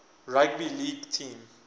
rugby league team